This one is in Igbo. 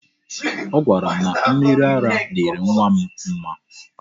Ọ gwara m na mmiri ara dịịrị nwa m mma.